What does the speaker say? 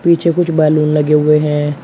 पीछे कुछ बैलून लगे हुए हैं।